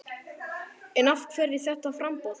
En af hverju þetta framboð?